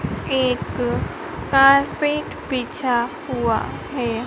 एक कारपेट बिछा हुआ है।